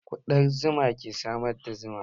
Kuɗan zuma ke samar da zuma